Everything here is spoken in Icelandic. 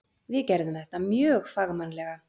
Við gerðum þetta mjög fagmannlega.